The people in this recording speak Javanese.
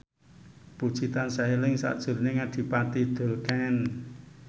Puji tansah eling sakjroning Adipati Dolken